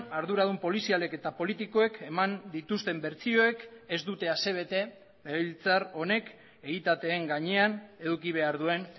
arduradun polizialek eta politikoek eman dituzten bertsioek ez dute asebete legebiltzar honek egitateen gainean eduki behar duen